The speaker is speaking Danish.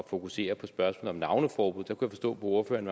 fokusere på spørgsmålet om navneforbud jeg kunne forstå på ordføreren